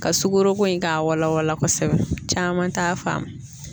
Ka sukoroko in k'a wala wala kosɛbɛ caman t'a faamu